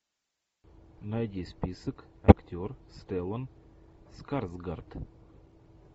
найди список актер стеллан скарсгард